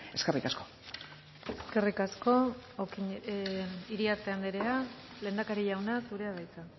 eskerrik asko eskerrik asko iriarte andrea lehendakari jauna zurea da hitza